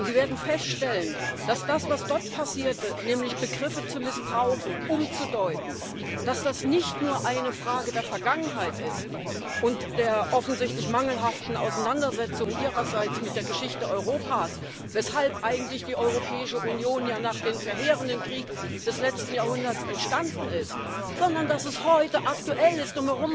Sie werden feststellen, dass das, was dort passierte, nämlich Begriffe zu missbrauchen, umzudeuten, nicht nur eine Frage der Vergangenheit ist und der offensichtlich mangelhaften Auseinandersetzung Ihrerseits mit der Geschichte Europas weshalb eigentlich die Europäische Union ja nach dem verheerenden Krieg des letzten Jahrhunderts entstanden ist sondern dass es heute aktuell ist.